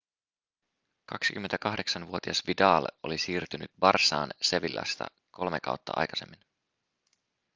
28-vuotias vidal oli siirtynyt barçaan sevillasta kolmea kautta aikaisemmin